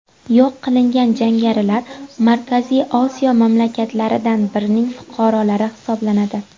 Yo‘q qilingan jangarilar Markaziy Osiyo mamlakatlaridan birining fuqarolari hisoblanadi.